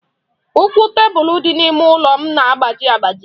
Ụkwụ tebụlụ dị n'ime ụlọ m na-agbaji agbaji.